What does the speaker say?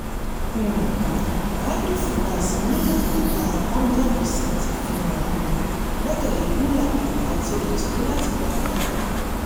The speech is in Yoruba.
um idle finance ní ìdá one hundred percent ìfihàn gbẹ́kẹ̀lè euler àti olùtọ́jú láti gbà padà.